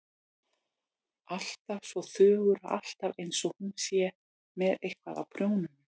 Alltaf svo þögul og alltaf einsog hún sé með eitthvað á prjónunum.